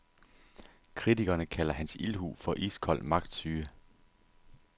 Kritikerne kalder hans ildhu for iskold magtsyge.